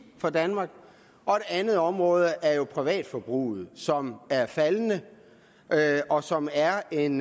for danmark og et andet område er jo privatforbruget som er faldende og som er en